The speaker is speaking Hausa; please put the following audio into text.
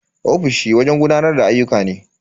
Ofishi wajen gudanar da ayyuka ne.